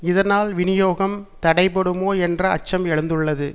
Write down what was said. இதனால் விநியோகம் தடைபடுமோ என்ற அச்சம் எழுந்துள்ளது